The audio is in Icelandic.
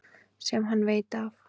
Sem hann veit af.